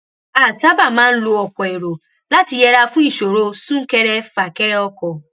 a sábà máa ń lo ọkò èrò láti yẹra fún ìṣòro súnkẹrẹfàkẹrẹ ọkò